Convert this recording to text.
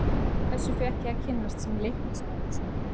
Þessu fékk ég að kynnast sem Leiknismaður í sumar.